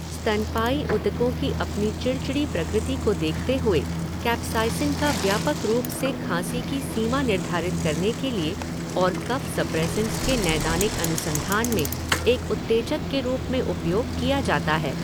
स्तनपायी ऊतकों की अपनी चिड़चिड़ी प्रकृति को देखते हुए, कैप्साइसिन का व्यापक रूप से खांसी की सीमा निर्धारित करने के लिए और कफ सप्रेसेंट्स के नैदानिक अनुसंधान में एक उत्तेजक के रूप में उपयोग किया जाता है।